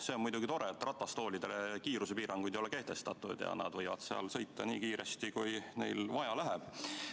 See on muidugi tore, et ratastoolidele kiirusepiiranguid ei ole kehtestatud ja nad võivad sõita nii kiiresti, kui vaja läheb.